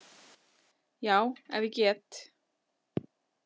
Já, ef ég get.